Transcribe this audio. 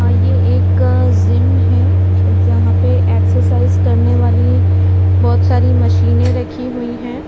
हाँ ये एक जिम है जहां पे एक्ससाइज करने वाली बहुत सारी मशीने रखी हुई हैं।